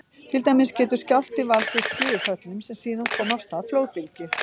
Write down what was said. Til dæmis getur skjálfti valdið skriðuföllum sem síðan koma af stað flóðbylgju.